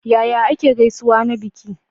Yaya ake gaisuwa na biki?